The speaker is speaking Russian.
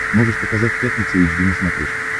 можешь показать пятница эйч ди на смотрешке